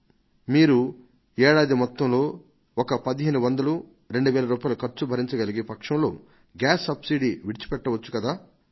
మీరు ఏడాదికి ఒక 1500 2000 రూపాయల ఖర్చును భరించగలిగే పక్షంలో మీ గ్యాస్ సబ్సిడీని ఎందుకు విడిచిపెట్టరు అని